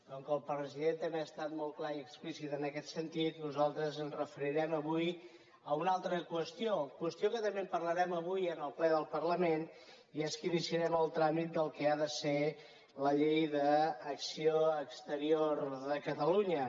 com que el president també ha estat molt clar i explícit en aquest sentit nosaltres ens referirem avui a una altra qüestió qüestió que també parlarem avui en el ple del parlament i és que iniciarem el tràmit del que ha de ser la llei d’acció exterior de catalunya